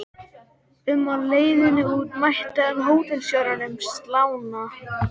um á leiðinni út mætti hann hótelstjóranum, slána